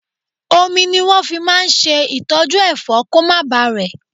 Omi ni wọn fi máa ń ṣe ìtọ́jú Ẹ̀fọ́ kó má ba rẹ̀.